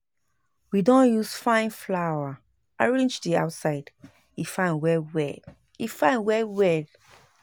We don use fine flower arrange di outside, e fine well-well e fine well well